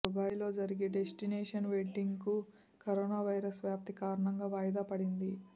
దుబాయ్లో జరిగే డిస్టినేషన్ వెడ్డింగ్కు కరోనా వైరస్ వ్యాప్తి కారణంగా వాయిదా పడింది